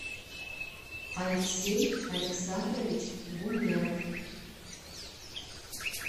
алексей александрович гумеров